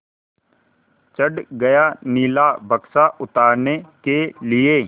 चढ़ गया नीला बक्सा उतारने के लिए